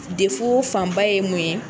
fanba ye mun ye.